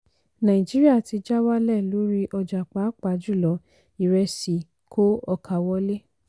nàìjíríà ti ja wálẹ̀ lórí ọjà pàápà jùlọ ìrẹsì kó ọkà wọlé.